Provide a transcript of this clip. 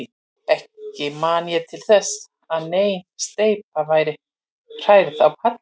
Ekki man ég til þess, að nein steypa væri hrærð á palli.